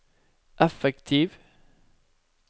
effektiv